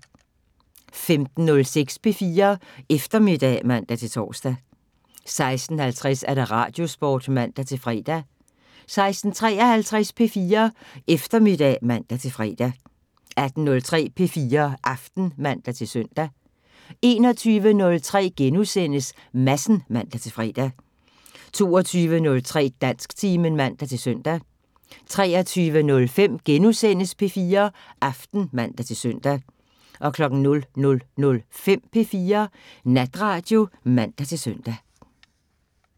15:06: P4 Eftermiddag (man-tor) 16:50: Radiosporten (man-fre) 16:53: P4 Eftermiddag (man-fre) 18:03: P4 Aften (man-søn) 21:03: Madsen *(man-fre) 22:03: Dansktimen (man-søn) 23:05: P4 Aften *(man-søn) 00:05: P4 Natradio (man-søn)